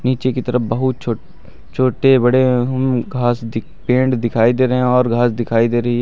नीचे की तरफ बहुत छोट छोटे बड़े हम्म घास दिख पेड़ दिखाई दे रहे हैं और घास दिखाई दे रही --